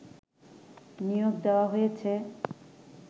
নিয়োগ দেয়া হয়েছে